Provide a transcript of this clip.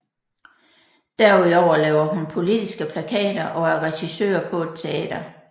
Derudover laver hun politiske plakater og er regissør på et teater